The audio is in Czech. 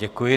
Děkuji.